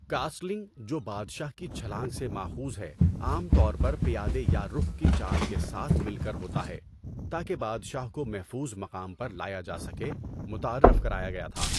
Castling, جو 'بادشاہ کی چھلانگ' سے ماخوذ ہے، عام طور پر پیادے یا رخ کی چال کے ساتھ مل کر ہوتا ہے تاکہ بادشاہ کو محفوظ مقام پر لایا جا سکے، متعارف کرایا گیا تھا۔